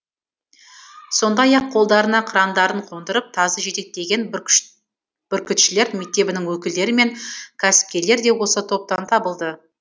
сондай ақ қолдарына қырандарын қондырып тазы жетектеген бүркітшілер мектебінің өкілдері мен кәсіпкерлер де осы топтан табылды